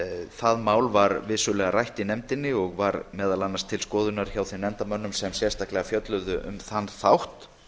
það mál var rætt í nefndinni og var meðal annars til skoðunar hjá þeim nefndarmönnum sem sérstaklega fjölluðu um þann þátt